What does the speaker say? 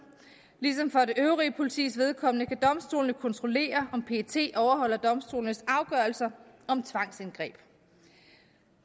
ligesom for det øvrige politis vedkommende kan domstolene kontrollere om pet overholder domstolenes afgørelser om tvangsindgreb